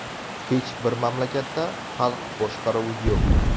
Hech bir mamlakatda xalq boshqaruvi yo‘q.